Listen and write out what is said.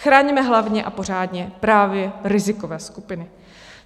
Chraňme hlavně a pořádně právě rizikové skupiny.